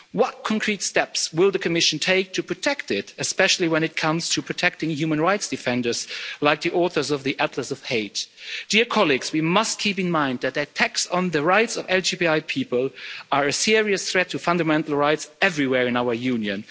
What concrete steps will the Commission take to protect it, especially when it comes to protecting human rights defenders, like the authors of the Atlas of Hate'? We must keep in mind that attacks on the rights of LGBTI people are a serious threat to Fundamental Rights everywhere in our Union.